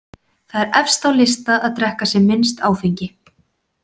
Þar er efst á lista að drekka sem minnst áfengi.